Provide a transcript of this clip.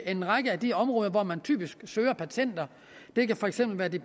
en række af de områder hvor man typisk søger patenter det kan for eksempel